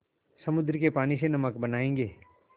समुद्र के पानी से नमक बनायेंगे